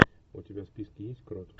у тебя в списке есть крот